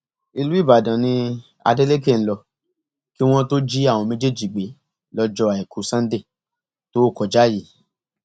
ìlú ìbàdàn ni adeleke ń lò kí wọn tóó jí àwọn méjèèjì gbé lọjọ àìkú sannde tó kọjá yìí